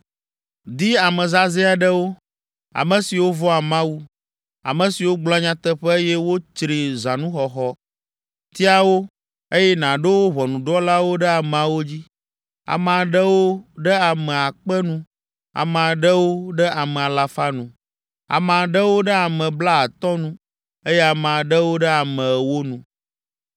“Di ame zazɛ̃ aɖewo, ame siwo vɔ̃a Mawu, ame siwo gblɔa nyateƒe eye wotsri zãnuxɔxɔ. Tia wo, eye nàɖo wo ʋɔnudrɔ̃lawo ɖe ameawo dzi. Ame aɖewo ɖe ame akpe nu, Ame aɖewo ɖe ame alafa nu, Ame aɖewo ɖe ame blaatɔ̃ nu eye Ame aɖewo ɖe ame ewo nu.